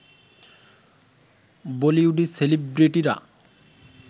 বলিউডি সেলিব্রেটিরা